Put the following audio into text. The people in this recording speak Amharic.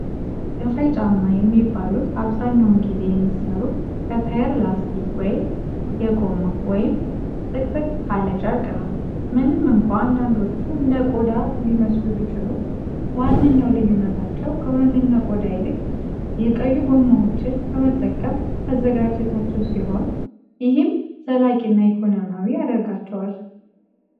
ከፋይ ጫማ የሚባሉት አብዛኛውን ጊዜ የሚሠሩት ከታይር ላስቲክ (የጎማ) ወይም ጥቅጥቅ ካለ ጨርቅ ነው። ምንም እንኳ አንዳንዶቹ እንደ ቆዳ ሊመስሉ ቢችሉም፣ ዋነኛው ልዩነታቸው ከእውነተኛ ቆዳ ይልቅ የቆዩ ጎማዎችን በመጠቀም መዘጋጀታቸው ሲሆን፣ ይህም ዘላቂና ኢኮኖሚያዊ ያደርጋቸዋል።